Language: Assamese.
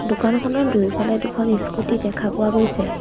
দোকানখনৰ দুয়োফালে দুখন ইস্কুটি দেখা পোৱা গৈছে।